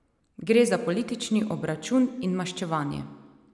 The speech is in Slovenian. Gre za politični obračun in maščevanje.